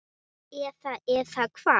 Eða, eða hvað?